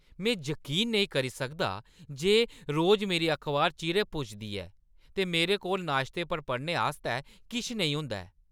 में जकीन निं करी सकदा जे रोज मेरी अखबार चिरें पुजदी ऐ, ते मेरे कोल नाश्ते पर पढ़ने आस्तै किश नेईं होंदा ऐ।